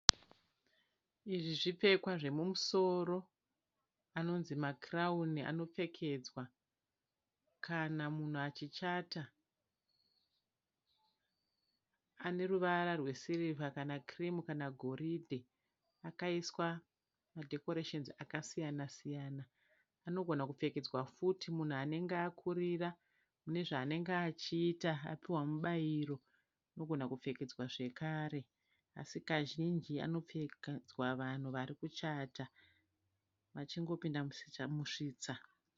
Izvi zvipfekwa zvemumusoro anonzi makirauni anopfekedzwa kana munhu achichata ane ruvara wesirivha kana kirimu kana goridhe akaiswa madhekoresheni akasiyana siyana. Anogona kupfekedzwa futi munhu anenge akurira mune zvaanenge achiita apiwa mubairo anogona kupfekedzwa zvakare asi kazhinji anopfekedzwa vanhu vari kuchata vachingopinda musvitsa.